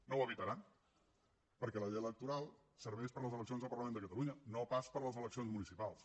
no ho evitaran perquè la llei electoral serveix per a les eleccions al parlament de catalunya no pas per a les eleccions municipals